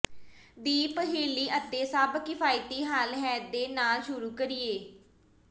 ਦੀ ਪਹਿਲੀ ਅਤੇ ਸਭ ਕਿਫਾਇਤੀ ਹੱਲ ਹੈ ਦੇ ਨਾਲ ਸ਼ੁਰੂ ਕਰੀਏ